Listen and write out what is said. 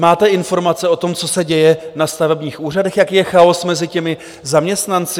Máte informace o tom, co se děje na stavebních úřadech, jaký je chaos mezi těmi zaměstnanci?